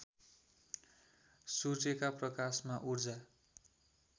सूर्यका प्रकाशमा ऊर्जा